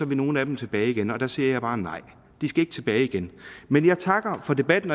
vil nogle af dem tilbage igen der siger jeg bare nej de skal ikke tilbage igen men jeg takker for debatten